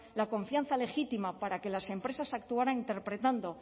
la confianza legítima para que las empresas actuaran interpretando